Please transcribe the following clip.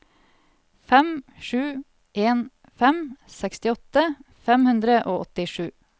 fem sju en fem sekstiåtte fem hundre og åttisju